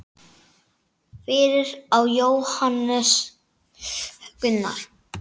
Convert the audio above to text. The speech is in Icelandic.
Fyrir á Hannes Jón Gunnar.